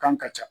Kan ka ca